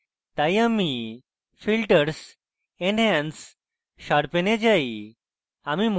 তাই আমি filters enhance sharpen এ যাই